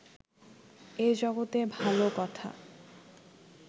এ জগতে ভাল কথা